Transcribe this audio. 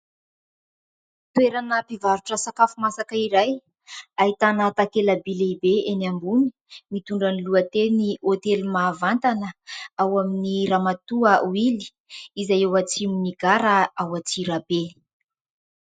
Toerana mpivarotra sakafo masaka iray, ahitana takelaby lehibe eny ambony mitondra ny lohateny"HÔTELY MAHAVANTANA ao amin'i Ramatoa Willy" izay ao atsimon'ny gara ao Antsirabe.